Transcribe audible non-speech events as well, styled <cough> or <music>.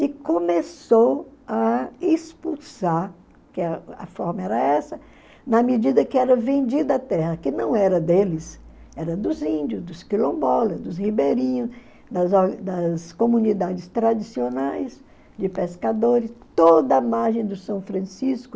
E começou a expulsar, que a a forma era essa, na medida que era vendida a terra, que não era deles, era dos índios, dos quilombolas, dos ribeirinhos, das <unintelligible> das comunidades tradicionais de pescadores, toda a margem do São Francisco,